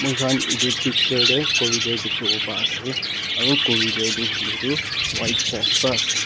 moi khan etu picture tae cooridore dekhivo pa ase aru cooridore toh white post pa ase.